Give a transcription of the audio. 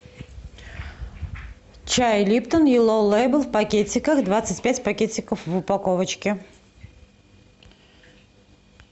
чай липтон йеллоу лейбл в пакетиках двадцать пять пакетиков в упаковочке